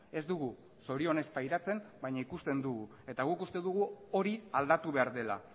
ez dugu zorionez pairatzen baina ikusten dugu eta guk uste dugu hori aldatu behar dela